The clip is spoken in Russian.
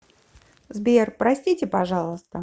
сбер простите пожалуйста